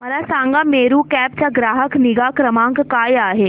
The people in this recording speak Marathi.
मला सांगा मेरू कॅब चा ग्राहक निगा क्रमांक काय आहे